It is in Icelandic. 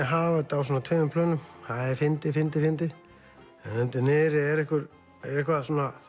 hafa þetta á tveimur plönum það er fyndið fyndið fyndið en undir niðri er eitthvað